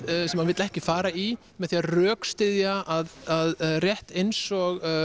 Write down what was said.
sem hann vill ekki fara í með því að rökstyðja að rétt eins og